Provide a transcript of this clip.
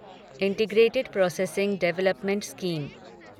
integrated processing development scheme